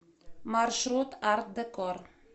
маршрут арт декор